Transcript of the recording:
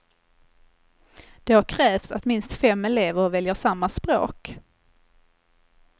Då krävs att minst fem elever väljer samma språk.